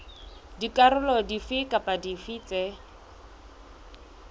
dikarolo dife kapa dife tse